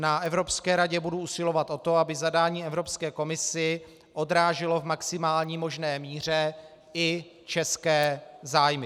Na Evropské radě budu usilovat o to, aby zadání Evropské komisi odráželo v maximální možné míře i české zájmy.